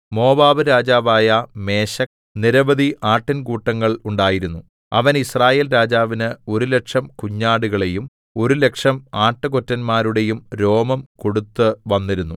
മോവാബ്‌രാജാവായ മേശെക്ക് നിരവധി ആട്ടിൻകൂട്ടങ്ങൾ ഉണ്ടായിരുന്നു അവൻ യിസ്രായേൽരാജാവിന് ഒരു ലക്ഷം കുഞ്ഞാടുകളുടെയും ഒരു ലക്ഷം ആട്ടുകൊറ്റന്മാരുടെയും രോമം കൊടുത്തുവന്നിരുന്നു